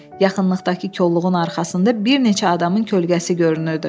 Yaxınlıqdakı kolluğun arxasında bir neçə adamın kölgəsi görünürdü.